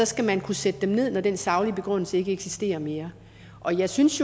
skal man kunne sætte dem ned når den saglige begrundelse ikke eksisterer mere og jeg synes